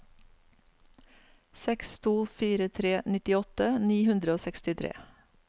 seks to fire tre nittiåtte ni hundre og sekstitre